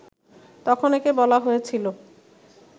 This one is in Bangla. তখন একে বলা হয়েছিল